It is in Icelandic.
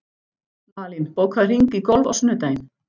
Malín, bókaðu hring í golf á sunnudaginn.